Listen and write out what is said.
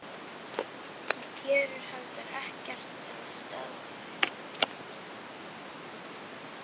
Hún gerir heldur ekkert til að stöðva þau.